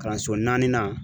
Kalanso naaninan